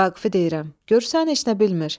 Vaqifi deyirəm: Görürsən heç nə bilmir.